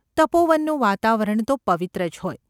તપોવનનું વાતાવરણ તો પવિત્ર જ હોય.